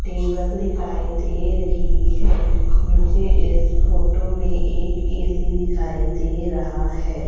Table दिखाई दे रही है मुझे इस फोटो में एक ऐ_सी दिखाई दे रहा है।